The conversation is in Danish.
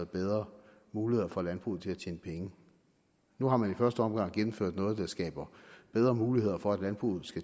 bedre muligheder for at landbruget kan tjene penge nu har man i første omgang gennemført noget der skaber bedre muligheder for at landbruget